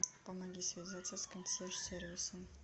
помоги связаться с консьерж сервисом